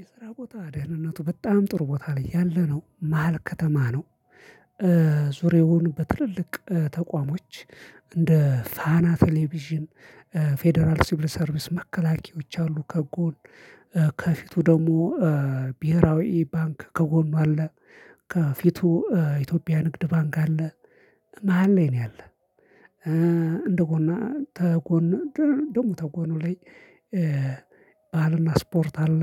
የስራ ቦታ ደህንነቱ በጣም ጥሩ ቦታ ላይ ያለ ነው መሃል ከተማ ነው። ዙሬውን በትልልቅ ተቋሞች እንደ ፋና ቴሌቪዥን ፌደራል ሲብል ሰርቪስ መከላከያዎች አሉ። ከጎን ከፊቱ ደግሞ ብሄራዊ ባንክ ከጎኑ አለ። ከፊቱ ኢትዮጵያ ንግድ ባንክ አለ። መሃል ላይ ነው ያለን እንደ ጎን ተጎን ደግሞ ተጎኑ ላይ። ባህልና ስፖርት አለ